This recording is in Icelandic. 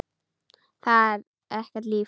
Það er ekkert líf.